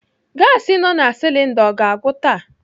Gasi nọ na silinda ọ ga-agwụ taa?